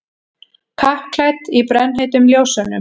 Kappklædd í brennheitum ljósunum.